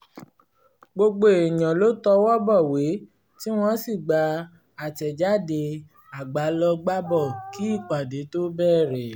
gbogbo èèyàn ló tọwọ́ bọ̀wé tí wọ́n sì gba atẹ̀jáde agbálọgbábọ̀ kí ìpàdé tó bẹ̀rẹ̀